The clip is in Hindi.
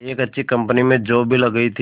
एक अच्छी कंपनी में जॉब भी लग गई थी